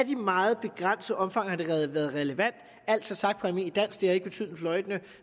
i meget begrænset omfang været relevant altså sagt på almindeligt dansk det har ikke betydet en fløjtende